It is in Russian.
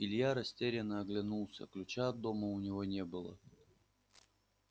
илья растерянно оглянулся ключа от дома у него не было